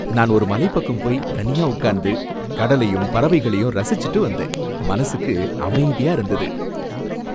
நான் ஒரு மலைப்பக்கம் போய் தனியா உட்கார்ந்து, கடலையும் பறவைகளையும் ரசிச்சுட்டு வந்தேன், மனசுக்கு அமைதியா இருந்தது.